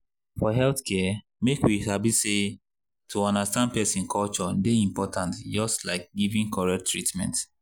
for healthcare make we sabi say to understand person culture dey important just like giving correct treatment.